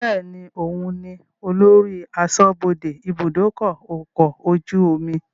Bẹ́ẹ̀ni, òun ni olórí aṣọ́bodè ibùdókọ̀ ọkọ̀ ojú omi